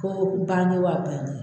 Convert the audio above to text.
Ko bane wa ba